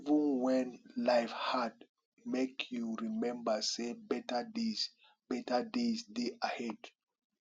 even wen life hard make you rememba say beta days dey beta days dey ahead